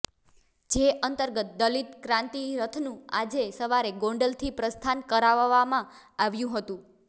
જે અંતર્ગત દલિત ક્રાંતિ રથનું આજે સવારે ગોંડલથી પ્રસ્થાન કરાવવામાં આવ્યું હતું